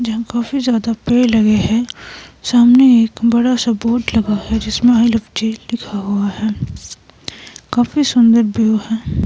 जहां काफी ज्यादा पैड लगे हैं सामने एक बड़ा सा बोर्ड लगा है जिसमें आई लव चायल लिखा हुआ है काफी सुंदर व्यू है।